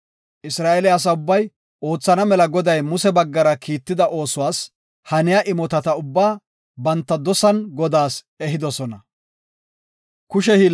Isra7eele asa ubbay, oothana mela Goday Muse baggara kiitida oosuwas haniya imotata ubbaa banta dosan Godaas ehidosona.